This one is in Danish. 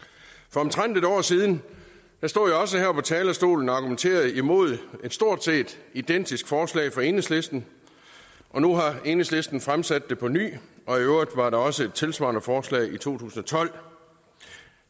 for omtrent et år siden stod jeg også her på talerstolen og argumenterede imod et stort set identisk forslag fra enhedslisten og nu har enhedslisten fremsat det på ny og i øvrigt var der også et tilsvarende forslag i to tusind og tolv